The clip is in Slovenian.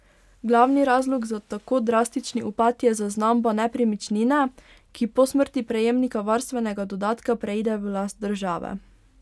Glavni razlog za tako drastični upad je zaznamba nepremičnine, ki po smrti prejemnika varstvenega dodatka preide v last države.